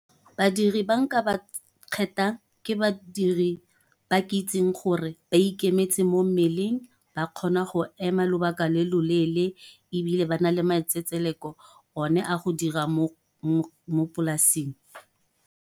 Badiri ba nka ba kgethang, ke badiri ba ke itseng gore ba ikemetseng mo mmeleng, ba kgona go ema lobaka le loleele, ebile ba nale matsetseleko one a go dira mo polasing.